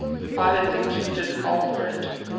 islands included alfred